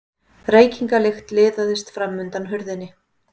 Reykingalykt liðaðist fram undan hurðinni.